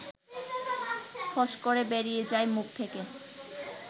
ফস করে বেরিয়ে যায় মুখ থেকে